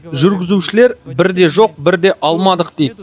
жүргізушілер бірде жоқ бірде алмадық дейді